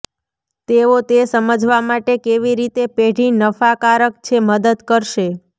તેઓ તે સમજવા માટે કેવી રીતે પેઢી નફાકારક છે મદદ કરશે